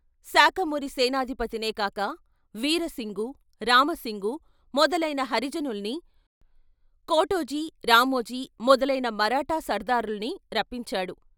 శాకమూరి సేనాధిపతినే కాక వీరసింగు, రామసింగు మొదలయిన హరిజనుల్ని, కోటోజీ, రామోజీ మొదలయిన మరాఠా సర్దారుల్ని రప్పించాడు.